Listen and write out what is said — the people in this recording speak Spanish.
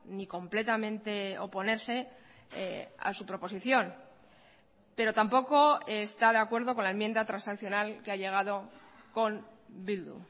ni completamente oponerse a su proposición pero tampoco está de acuerdo con la enmienda transaccional que ha llegado con bildu